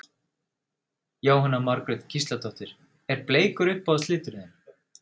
Jóhanna Margrét Gísladóttir: Er bleikur uppáhalds liturinn þinn?